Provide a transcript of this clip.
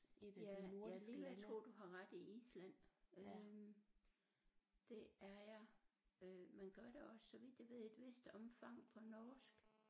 Ja jeg er lige ved at tro du har ret i Island øh det er jeg øh man gør også så vidt jeg ved i et vist omfang på norsk